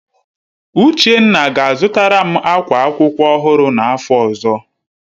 Uchenna ga-azụtara m akwa akwụkwọ ọhụrụ n'afọ ọzọ